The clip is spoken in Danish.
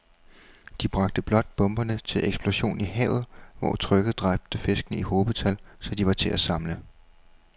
De bragte blot bomberne til eksplosion i havet, hvor trykket dræbte fiskene i hobetal, så de var til at samle